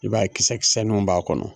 I b'a ye kisɛkisɛnuw b'a kɔnɔ